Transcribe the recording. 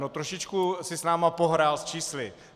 No, trošičku si s námi pohrál s čísly.